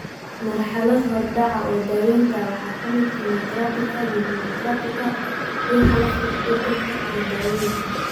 Marxalad horudhac ah oo daawaynta ah waxaa ka mid ah kiimoterabika, immunotherapyka, dhuuxa lafta ku beddelka, iyo dawooyinka.